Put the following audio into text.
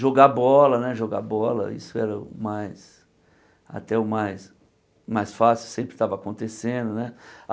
Jogar bola, né jogar bola, isso era o mais, até o mais fácil, sempre estava acontecendo né.